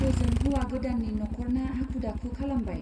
ओजों हौवा गोदाननि नख'रना हाखु-दाखु खालामबाय।